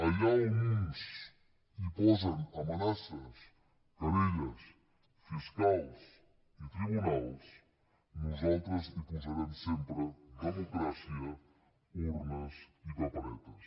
allà on uns posen amenaces querelles fiscals i tribunals nosaltres hi posarem sempre democràcia urnes i paperetes